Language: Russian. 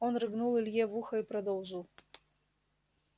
он рыгнул илье в ухо и продолжил